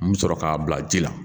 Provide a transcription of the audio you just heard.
N mi sɔrɔ k'a bila ji la